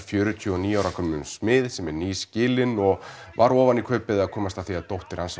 fjörutíu og níu ára gömlum smið sem er nýskilinn og var ofan í kaupið að komast að því að dóttir hans